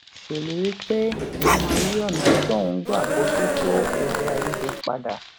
ṣèlérí pé òun máa yí ònà tóun ń gbà bójú tó edeaiyede padà